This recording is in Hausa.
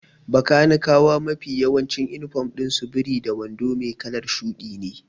Bakanikawa mafi yawancin inifom ɗin su biri da wando mai kalar shuɗi ne.